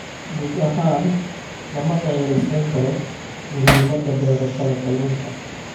Guud ahaan, lama dhayalsan karo muhiimadda beerashada kalluunka.